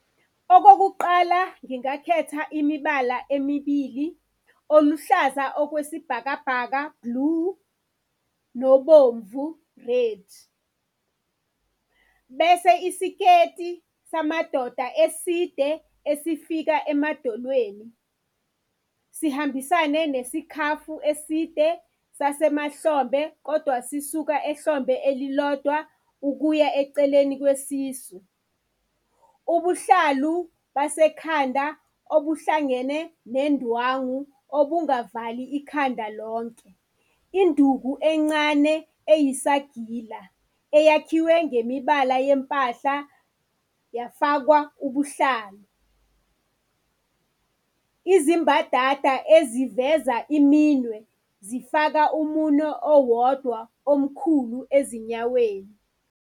Okokuqala, ngingakhetha imibala emibili oluhlaza okwesibhakabhaka, blue, nobomvu, red. Bese isiketi samadoda eside esifika emadolweni sihambisane nesikhafu eside sasemahlombe kodwa sisuka ehlombe elilodwa ukuya eceleni kwesisu. Ubuhlalu basekhanda obuhlangene nendwangu okungavali ikhanda lonke. Induku encane eyisagila eyakhiwe ngemibala yempahla yafakwa ubuhlalu. Izimbadada eziveza iminwe, zifaka umunwe owodwa omkhulu ezinyaweni.